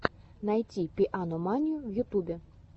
найти пианоманию в ютубе